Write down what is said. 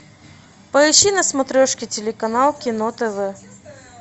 поищи на смотрешке телеканал кино тв